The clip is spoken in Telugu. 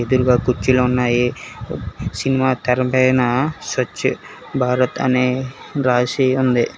కుర్చీలో ఉన్నాయి సినిమా తెర పైనా శ్వచ భారత్ అనే రాశి ఉంది.